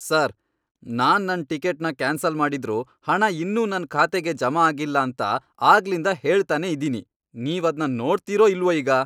Sir! ನಾನ್ ನನ್ ಟಿಕೆಟ್ನ ಕ್ಯಾನ್ಸಲ್ ಮಾಡಿದ್ರೂ ಹಣ ಇನ್ನೂ ನನ್ ಖಾತೆಗ್ ಜಮಾ ಆಗಿಲ್ಲ ಅಂತ ಆಗ್ಲಿಂದ ಹೇಳ್ತನೇ ಇದೀನಿ, ನೀವದ್ನ ನೋಡ್ತೀರೋ ಇಲ್ವೋ ಈಗ?